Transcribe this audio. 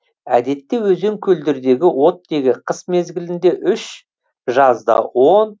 әдетте өзен көлдердегі оттегі қыс мезгілінде үш жазда он